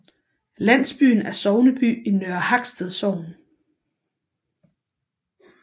Landsbyen er sogneby i Nørre Haksted Sogn